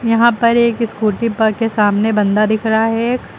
यहां पर एक स्कूटी पर के सामने बंदा दिख रहा है एक।